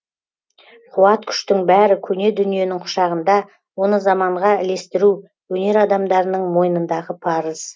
қуат күштің бәрі көне дүниенің құшағында оны заманға ілестіру өнер адамдарының мойнындағы парыз